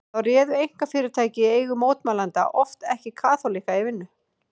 Þá réðu einkafyrirtæki í eigu mótmælenda oft ekki kaþólikka í vinnu.